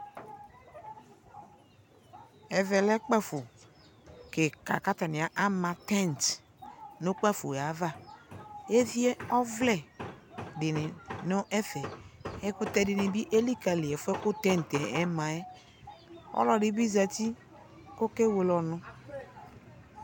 ̇Ɛvɛ lɛ kpafo kɩka kʋ atznɩ ama tɛ̃t nʋ kpafo yɛ ava Evie ɔvlɛ dɩnɩ nʋ ɛfɛ Ɛkʋtɛ dɩnɩ bɩ elikǝli ɛfʋ yɛ kʋ tɛ̃t yɛ ma yɛ Ɔlɔdɩ bɩ zati kʋ ɔkewele ɔnʋ